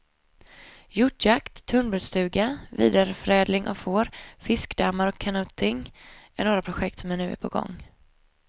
Hjortjakt, tunnbrödsstuga, vidareförädling av får, fiskedammar och kanoting är några projekt som är på gång.